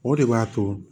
O de b'a to